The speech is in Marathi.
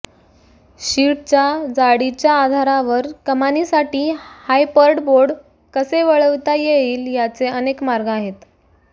शीटच्या जाडीच्या आधारावर कमानीसाठी हायपर्टबोर्ड कसे वळविता येईल याचे अनेक मार्ग आहेत